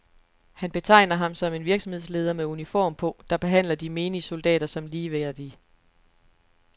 Han betegner ham som en virksomhedsleder med uniform på, der behandler de menige soldater som ligeværdige.